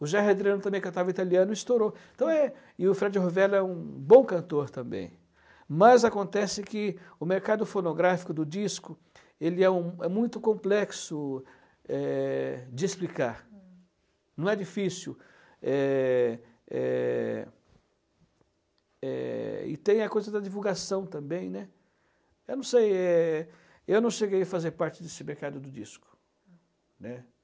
O Gerry Adriano também cantava italiano Estourou então é E o Fred Rovella é um bom cantor também Mas acontece que O mercado fonográfico do disco Ele é um é muito complexo é é De explicar Não é difícil é é é E tem a coisa da divulgação também né Eu não sei é Eu não cheguei a fazer parte desse mercado do disco Né